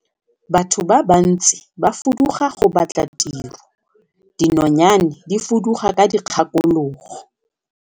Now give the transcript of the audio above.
Batho ba bantsi ba fuduga go batla tiro, dinonyane di fuduga ka dikgakologo.